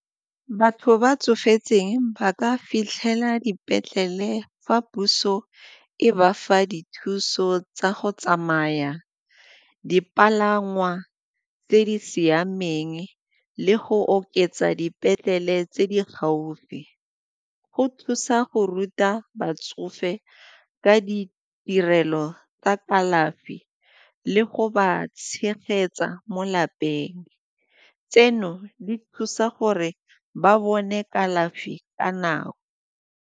Batho ba tsofetseng ba ka fitlhela dipetlele fa puso e bafa dithuso tsa go tsamaya, dipalangwa tse di siameng le go oketsa dipetlele tse di gaufi. Go thusa go ruta batsofe ka ditirelo tsa kalafi le go ba tshegetsa mo lapeng. Tseno di thusa gore ba bone kalafi ka nako.